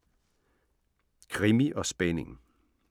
Krimi & spænding